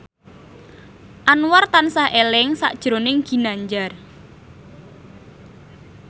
Anwar tansah eling sakjroning Ginanjar